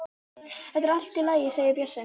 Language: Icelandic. Þetta er allt í lagi segir Bjössi.